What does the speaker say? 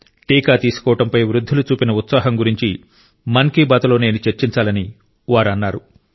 టీకా తీసుకోవడంపై వృద్ధులు చూపిన ఉత్సాహం గురించి మన్ కి బాత్ లో నేను చర్చించాలని వారు అన్నారు